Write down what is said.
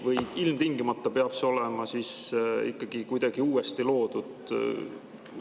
Või ilmtingimata peab see olema ikkagi kuidagi uuesti loodud?